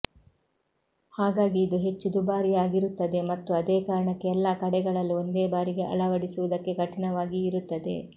ಹಾಗಾಗಿ ಇದು ಹೆಚ್ಚು ದುಬಾರಿಯಾಗಿರುತ್ತದೆ ಮತ್ತು ಅದೇ ಕಾರಣಕ್ಕೆ ಎಲ್ಲಾ ಕಡೆಗಳಲ್ಲೂ ಒಂದೇ ಬಾರಿಗೆ ಅಳಡಿಸುವುದಕ್ಕೆ ಕಠಿಣವಾಗಿಯೂ ಇರುತ್ತದೆ